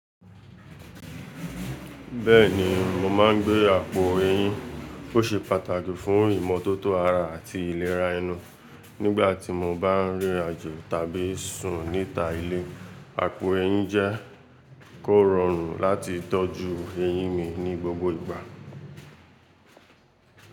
Bẹ́ẹ̀ni, mo máa ń gbé àpò eyín, ó ṣe pàtàkì fún ìmọ́tótó ara àti ìlera ẹnu. Nígbà tí mo bá ń rìn rin àjo tàbí sùn níta ilé, àpò eyín jẹ́ kó rọrùn láti tọ́jú eyín mi ní gbogbo ìgbà.